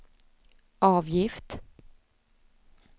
avgift